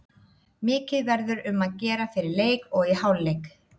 Mikið verður um að gera fyrir leik og í hálfleik.